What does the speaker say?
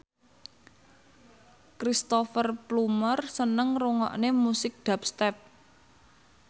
Cristhoper Plumer seneng ngrungokne musik dubstep